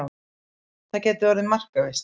Það gæti orðið markaveisla.